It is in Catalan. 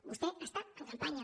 vostè està en campanya